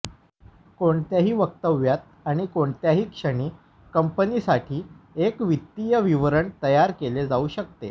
कोणत्याही वक्तव्यात आणि कोणत्याही क्षणी कंपनीसाठी एक वित्तीय विवरण तयार केले जाऊ शकते